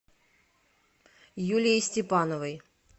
юлией степановой